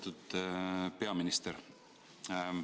Lugupeetud peaminister!